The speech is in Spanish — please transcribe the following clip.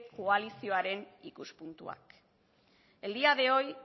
koalizioaren ikuspuntua el día de hoy